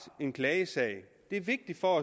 en klagesag det er vigtigt for